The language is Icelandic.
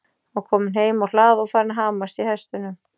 Hann var kominn heim á hlað og farinn að hamast í hestunum.